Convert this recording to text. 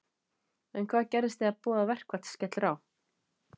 En hvað gerist þegar boðað verkfall skellur á?